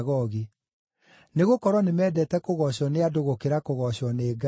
nĩgũkorwo nĩmendete kũgoocwo nĩ andũ gũkĩra kũgoocwo nĩ Ngai.